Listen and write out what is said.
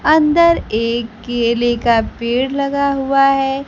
अन्दर एक केले का पेड़ लगा हुआ है।